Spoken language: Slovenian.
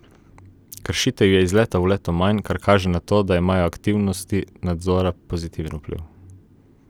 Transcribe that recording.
Kršitev je iz leta v leto manj, kar kaže na to, da imajo aktivnosti nadzora pozitiven vpliv.